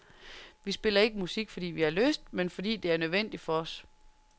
Vi spiller ikke musik, fordi vi har lyst, men fordi det er en nødvendighed for os.